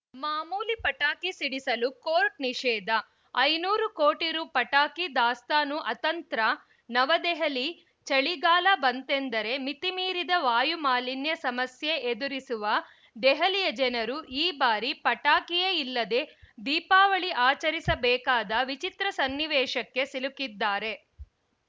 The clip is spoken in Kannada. ಮಾಮೂಲಿ ಪಟಾಕಿ ಸಿಡಿಸಲು ಕೋರ್ಟ್‌ ನಿಷೇಧ ಐನೂರು ಕೋಟಿ ರು ಪಟಾಕಿ ದಾಸ್ತಾನು ಅತಂತ್ರ ನವದೆಹಲಿ ಚಳಿಗಾಲ ಬಂತೆಂದರೆ ಮಿತಿಮೀರಿದ ವಾಯುಮಾಲಿನ್ಯ ಸಮಸ್ಯೆ ಎದುರಿಸುವ ದೆಹಲಿಯ ಜನರು ಈ ಬಾರಿ ಪಟಾಕಿಯೇ ಇಲ್ಲದೇ ದೀಪಾವಳಿ ಆಚರಿಸಬೇಕಾದ ವಿಚಿತ್ರ ಸನ್ನಿವೇಶಕ್ಕೆ ಸಿಲುಕಿದ್ದಾರೆ